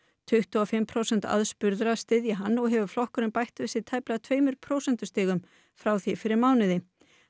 tuttugu og fimm prósent aðspurðra styðja hann og hefur flokkurinn bætt við sig tæplega tveimur prósentustigum frá því fyrir mánuði